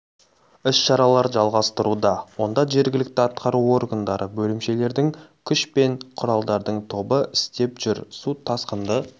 іс-шаралар жалғастыруда онда жергілікті атқару органдары бөлімшелердің күш пен құралдардың тобы істеп жүр су тасқынды